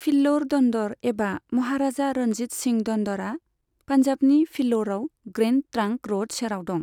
फिल्लौर दन्दर एबा महाराजा रणजीत सिंह दन्दरआ पान्जाबनि फिल्लौरआव ग्रैन्ड ट्रांक र'ड सेराव दं।